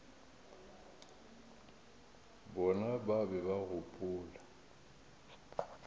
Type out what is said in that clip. bona ba be ba gopola